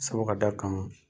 Sabu ka da kan